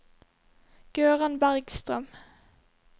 Gøran Bergstrøm